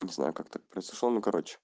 не знаю как так произошло ну кароче